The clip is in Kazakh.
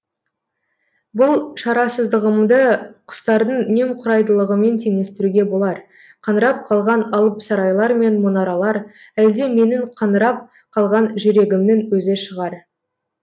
бұл шарасыздығымды құстардың немқұрайдылығымен теңестіруге болар қаңырап қалған алып сарайлар мен мұнаралар әлде менің қаңырап қалған жүрегімнің өзі шығар